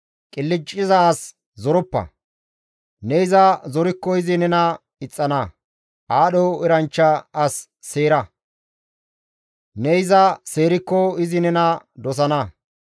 Qilcciza as zoroppa; ne iza zorikko izi nena ixxana. Aadho eranchcha as seera; ne iza seerikko izi nena dosana.